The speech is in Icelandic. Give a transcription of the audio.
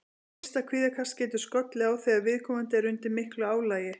Fyrsta kvíðakast getur skollið á þegar viðkomandi er undir miklu álagi.